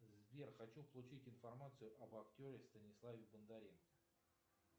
сбер хочу получить информацию об актере станиславе бондаренко